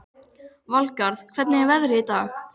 Valgarð, hvernig er veðrið í dag?